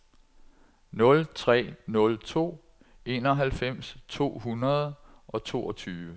nul tre nul to enoghalvfems to hundrede og toogtyve